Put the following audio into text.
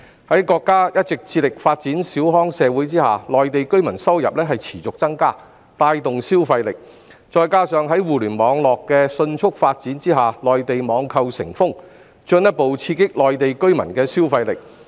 由於國家一直致力發展小康社會，內地居民的收入持續增加，並帶動消費力；加上互聯網迅速發展，內地網購成風，進一步刺激內地居民的消費力。